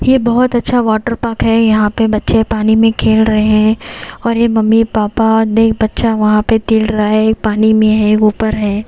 ये बहुत अच्छा वाटर पार्क है यहां पे बच्चे पानी में खेल रहे हैं और ये मम्मी पापा देख बच्चा वहां पे तिल रहा है पानी में है ऊपर है।